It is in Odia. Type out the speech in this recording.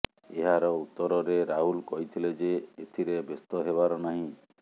ଏହାର ଉତ୍ତରରେ ରାହୁଲ କହିଥିଲେ ଯେ ଏଥିରେ ବ୍ୟସ୍ତ ହେବାର ନାହିଁ